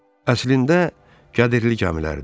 Əslində qədirli gəmilərdir.